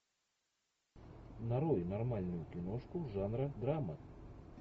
нарой нормальную киношку жанра драма